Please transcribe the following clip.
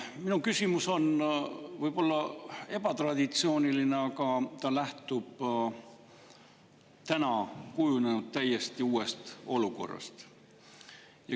Minu küsimus on võib-olla ebatraditsiooniline, aga ta lähtub täna kujunenud täiesti uuest olukorrast.